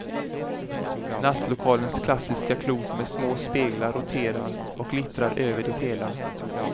Nattlokalens klassiska klot med små speglar roterar och glittrar över det hela.